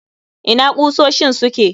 Ina ƙusoshin suke?